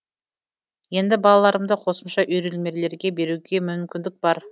енді балаларымды қосымша үйірмелерге беруге мүмкіндік бар